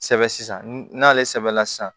Sɛbɛ sisan n'ale sɛbɛla sisan